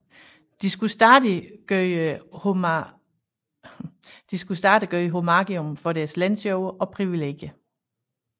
De skulle stadig gøre homagium for deres lensjord og privilegier